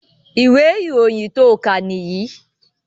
Ìwé ìròyìn tó kà nìyìí